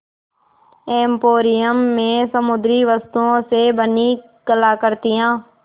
emporium में समुद्री वस्तुओं से बनी कलाकृतियाँ